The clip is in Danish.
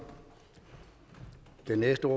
netop